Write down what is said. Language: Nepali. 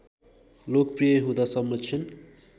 लोकप्रि‍‍य हुँदा संरक्षण